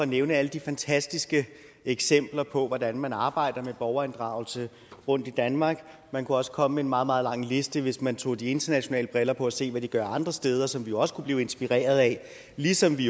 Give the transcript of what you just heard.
nævne alle de fantastiske eksempler på hvordan man arbejder med borgerinddragelse rundtom i danmark man kunne også komme med en meget meget lang liste hvis man tog de internationale briller på og se hvad de gør andre steder som vi jo også kunne blive inspireret af ligesom vi